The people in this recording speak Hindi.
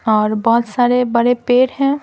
और बहुत सारे बड़े पेड़ हैं।